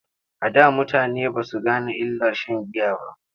A da mutane ba su gane illar sha n giya ba.